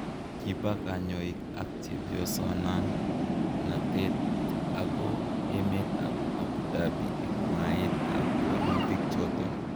Kiba kanyoik ak chepyosan natet ako emet ab Abu Dhabi en mwaet ab walutik choton